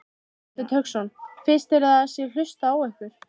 Hafsteinn Hauksson: Finnst þér að það sé hlustað á ykkur?